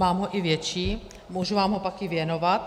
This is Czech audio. Mám ho i větší, můžu vám ho pak i věnovat.